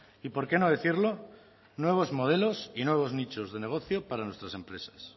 y por qué no decirlo nuevos modelos y nuevos nichos de negocio para nuestras empresas